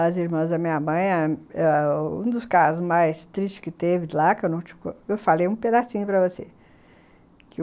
As irmãs da minha mãe, ah um dos casos mais tristes que teve lá, que eu falei um pedacinho para você.